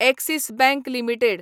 axis bank limited